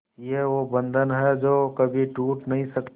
ये वो बंधन है जो कभी टूट नही सकता